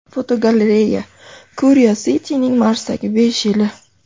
Fotogalereya: Curiosity’ning Marsdagi besh yili.